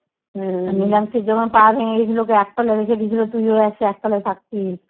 আর নিলামসির যখন পা ভেঙে গেছিলো ওকে এক তলায় রেখে দিয়েছিলো। তুইও এসে এক তলায় থাকতিস?